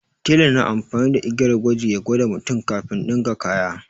Tela na amfani da igiyar gwaji ya gwada mutum kafin ɗinka kaya.